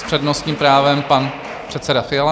S přednostním právem pan předseda Fiala.